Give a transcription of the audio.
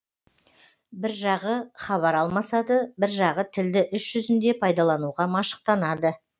бір жағы хабар алмасады бір жағы тілді іс жүзінде пайдалануға машықтанады